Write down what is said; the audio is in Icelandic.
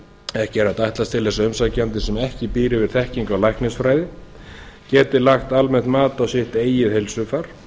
ekki er hægt að ætlast til þess að umsækjandi sem ekki býr yfir þekkingu á læknisfræði geti lagt almennt mat á sitt eigið heilsufar